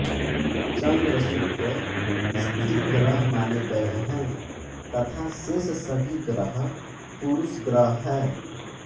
चन्द्र शुक्र स्त्री ग्रह माने गये हैं तथा शेष सभी ग्रह पुरुष ग्रह है